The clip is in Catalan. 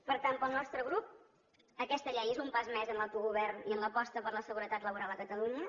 per tant pel nostre grup aquesta llei és un pas més en l’autogovern i en l’aposta per la seguretat laboral a catalunya